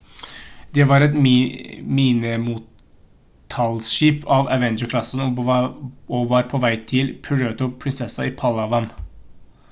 det var et minemottiltaksskip av avenger-klassen og var på vei til puerto princesa i palawan